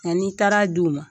Nka n'i taara d' u ma.